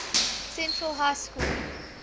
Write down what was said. central high school